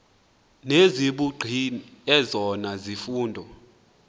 nezobugqi ezona zifundo